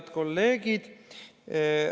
Head kolleegid!